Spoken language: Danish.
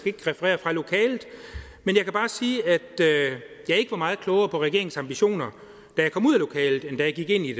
ikke referere fra lokalet men jeg kan bare sige at jeg ikke var meget klogere på regeringens ambitioner da jeg kom ud af lokalet end da jeg gik ind i